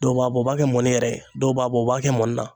Dɔw b'a bɔ u b'a kɛ mɔni yɛrɛ ye dɔw b'a bɔ u b'a kɛ mɔni na.